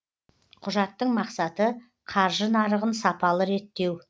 құжаттың мақсаты қаржы нарығын сапалы реттеу